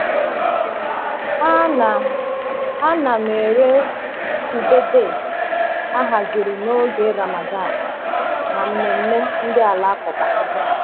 A na A na m ere ube date e haziri n’oge Ramadan na mmemme ndị Alakụba.